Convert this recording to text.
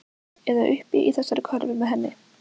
Eða uppi í þessari körfu með henni.